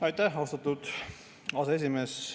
Aitäh, austatud aseesimees!